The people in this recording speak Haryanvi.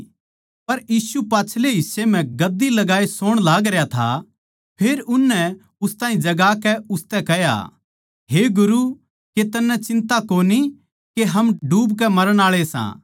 पर यीशु पाच्छलै हिस्से म्ह गद्दी लगाई सोण लाग रह्या था फेर उननै उस ताहीं जगाकै उसतै कह्या हे गुरू के तन्नै चिन्ता कोनी के हम डूबके मरण आळे सां